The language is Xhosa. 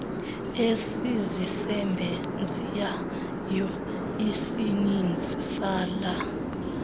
esizisebenzisayo isininzi sala